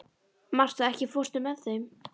Martha, ekki fórstu með þeim?